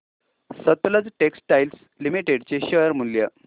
Sutlej textiles limited चे share मूल्य